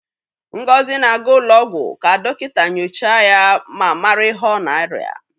Ngozi na-aga ụlọ ọgwụ ka dọkịta nyochaa ya ma mara ihe ọ na-arịa.